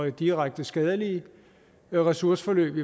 direkte skadelige ressourceforløb